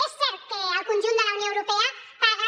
és cert que el conjunt de la unió europea paga